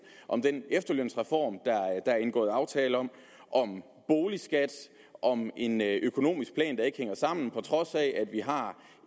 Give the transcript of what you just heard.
om den efterlønsreform der er indgået aftale om om boligskat og om en økonomisk plan der ikke hænger sammen vi har